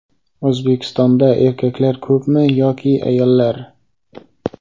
O‘zbekistonda erkaklar ko‘pmi yoki ayollar?.